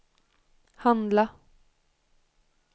handla